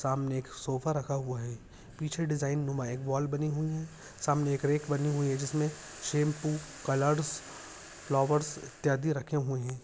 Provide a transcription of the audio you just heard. सामने एक सोफ़ा रखा हुआ है पीछे डिजाइन नुमा एक वॉल बनी हुई है सामने एक रेक बनी हुई है जिसमे शैम्पू कलर्स फ्लावर्स इत्यादि रखे हुए है।